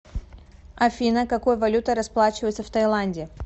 афина какой валютой расплачиваются в тайланде